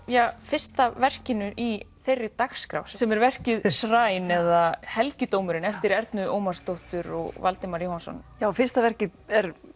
fyrsta verkinu í þeirri dagskrá sem er verkið Shrine eða helgidómurinn eftir Ernu Ómarsdóttur og Valdimar Jóhannsson fyrsta verkið er